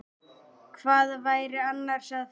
Hvað væri annars að frétta?